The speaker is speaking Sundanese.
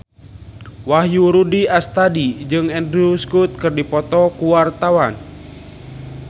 Wahyu Rudi Astadi jeung Andrew Scott keur dipoto ku wartawan